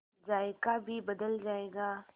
जायका भी बदल जाएगा